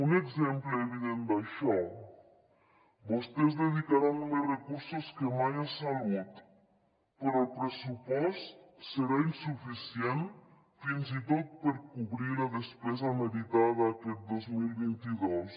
un exemple evident d’això vostès dedicaran més recursos que mai a salut però el pressupost serà insuficient fins i tot per cobrir la despesa meritada aquest dos mil vint dos